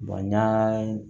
n y'a